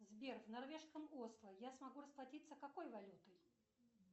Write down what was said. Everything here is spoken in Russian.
сбер в норвежском осло я смогу расплатиться какой валютой